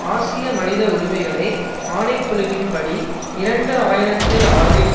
ஆசிய மனித உரிமைகளை ஆணை குழுவின் படி இரண்டு ஆயிரத்தில் ஆறில்